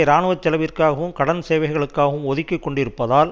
இராணுவ செலவிற்காகவும் கடன் சேவைகளுக்காகவும் ஒதுக்கி கொண்டிருப்பதால்